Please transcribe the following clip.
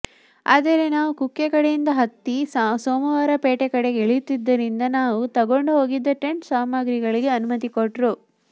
ಆದರೆ ನಾವು ಕುಕ್ಕೆ ಕಡೆಯಿಂದ ಹತ್ತಿ ಸೋಮವಾರಪೇಟೆ ಕಡೆ ಇಳಿಯುತ್ತಿದ್ದರಿಂದ ನಾವು ತಗೊಂಡ್ ಹೋಗಿದ್ದ ಟೆಂಟ್ ಸಾಮಗ್ರಿಗಳಿಗೆ ಅನುಮತಿ ಕೊಟ್ರು